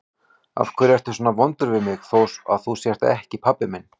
Af hverju ertu svona vondur við mig þó að þú sért ekki pabbi minn?